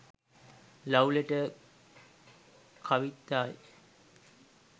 love letter kavithai